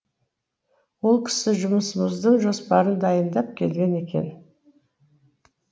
ол кісі жұмысымыздың жоспарын дайындап келген екен